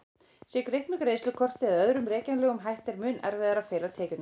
Sé greitt með greiðslukorti eða öðrum rekjanlegum hætti er mun erfiðara að fela tekjurnar.